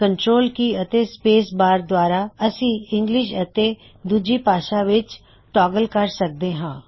control key ਅਤੇ space bar ਦੁਆਰਾ ਅਸੀ ਇੰਗਲਿਸ਼ ਅਤੇ ਦੂਜੀ ਭਾਸ਼ਾ ਵਿੱਚ ਟੌਗਲ ਕਰ ਸਕਦੇ ਹੈ